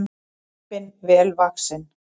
Lömbin vel vaxin